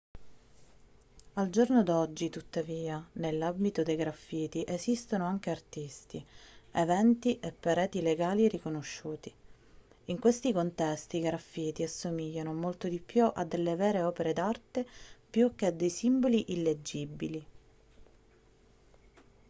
al giorno d'oggi tuttavia nell'ambito dei graffiti esistono anche artisti eventi e pareti legali riconosciuti in questi contesti i graffiti assomigliano molto di più a delle vere opere d'arte più che a dei simboli illeggibili